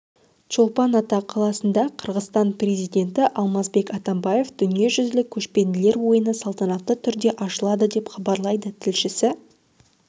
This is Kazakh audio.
чолпан ата қаласында қырғызстан президенті алмазбек атамбаев дүниежүзілік көшпенділер ойыны салтанатты түрде ашылды деп хабарлайды тілшісі